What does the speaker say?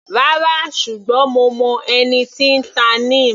Rárá, ṣùgbọ́n mo mọ ẹni tí n ta Neem.